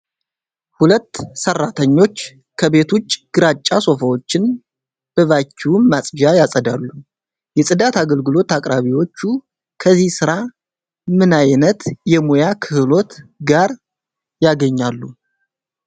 ሁለት ሠራተኞች ከቤት ውጭ ግራጫ ሶፋዎችን በቫኪዩም ማጽጃ ያጸዳሉ። የጽዳት አገልግሎት አቅራቢዎቹ ከዚህ ሥራ ምን ዓይነት የሙያ ክህሎት ጋር ያገኛሉ?